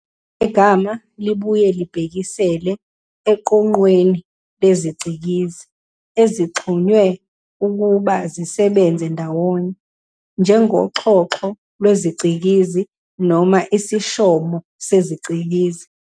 Legama libuye libhekisele eqoqweni leziCikizi ezixhunywe ukuba zisebenze ndawonye, njengoXhoxho lweziCikizi noma isishomo seziCikizi.